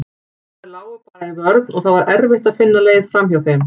Þær lágu bara í vörn og það var erfitt að finna leið framhjá þeim.